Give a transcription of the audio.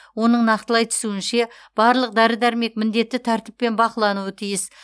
оның нақтылай түсуінше барлық дәрі дәрмек міндетті тәртіппен бақылануы тиіс